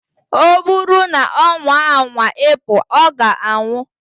O buru na onwa anwa ipu, oga anwu.